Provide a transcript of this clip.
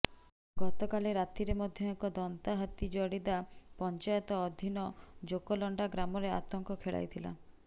ଗତକାଲି ରାତିରେ ମଧ୍ୟ ଏକ ଦନ୍ତା ହାତୀ ଜଡିଦା ପଂଚାୟତ ଅଧିନ ଜୋକଲଣ୍ଡା ଗ୍ରାମରେ ଆତଙ୍କ ଖେଳାଇଥିଲା